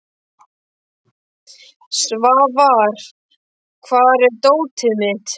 Svafar, hvar er dótið mitt?